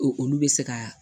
Olu bɛ se ka